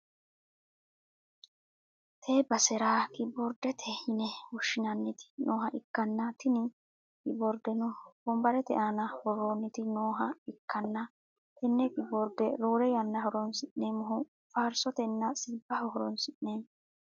tee basera kiyiboordete yine woshshinanniti nooha ikkanna, tini kiyiboordeno wonbarete aana worroonniti, nooha ikkanna, tenne kiyiboordeno roore yannara horonsi'neemmohu faarsotenna sirbaho horonsi'neemmo.